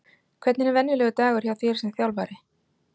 Hvernig er venjulegur dagur hjá þér sem þjálfari?